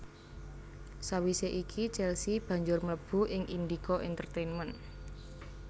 Sawisé iki Chelsea banjur mlebu ing Indika Intertainment